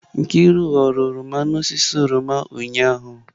Nkiru ghọrọ oroma n'osisi oroma ụnyahụ